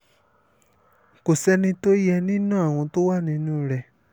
kò sẹ́ni tó yẹ nínú àwọn tó wà nínú rẹ̀